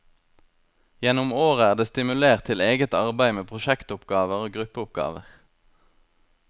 Gjennom året er det stimulert til eget arbeid med prosjektoppgaver og gruppeoppgaver.